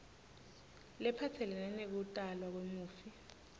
lephatselene nekutalwa kwemufi